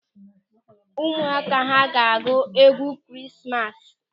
Ụmụaka ahụ ga-agụ egwu Ekeresimesi.